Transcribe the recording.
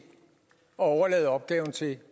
at overlade opgaven til